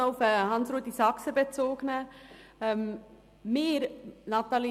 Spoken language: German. Ich nehme Bezug auf Grossrat Saxer.